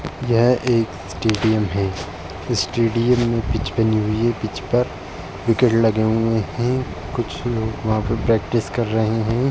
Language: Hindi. यह एक स्टेडियम है। स्टेडियम में पिच बनी हुयी है। पिच पर विकेट लगे हुए हैं कुछ लोग वहाँ पर प्रैक्टिस कर रहे हैं।